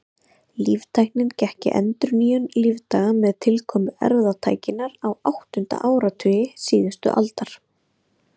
Líftæknin gekk í endurnýjun lífdaga með tilkomu erfðatækninnar á áttunda áratugi síðustu aldar.